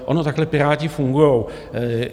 Oni takhle Piráti fungují.